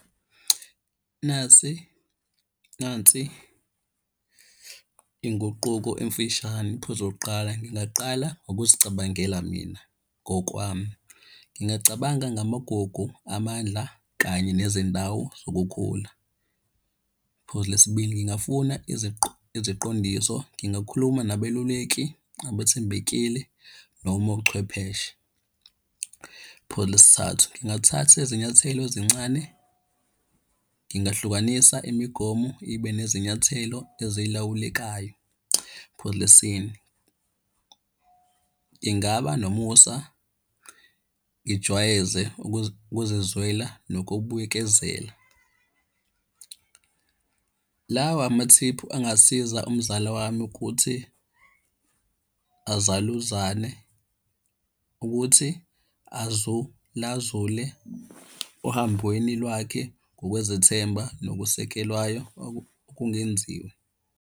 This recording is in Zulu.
Nasi nansi inguquko emfishane iphuzo lokokuqala ngingaqala ngokuzicabangela mina ngokwami. Ngingacabanga ngamagugu, amandla, kanye nezindawo zokukhula. Iphuzu lesibili ngingafuna iziqondiso, ngingakhuluma nabeluleki abethembekile noma ochwepheshe. Phuzu lesithathu, ngingathatha izinyathelo ezincane, ngingahlukanisa imigomo ibe nezinyathelo ezilawulekayo. Phuzu lesine, ngingaba nomusa, ngijwayeze ukuzizwela nokubuyikezela. Lawa amathiphu angasiza umzala wami ukuthi azaluzane ukuthi azula zule ohambweni lwakhe ngokwezethemba nokusekelwayo okungenziwe.